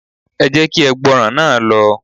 Ẹ jẹ́ kí ẹgbọrọ̀n náà lọ